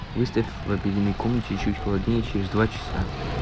выставь в обеденной комнате чуть холоднее через два часа